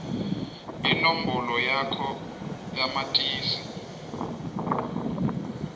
inombolo yakho yamatisi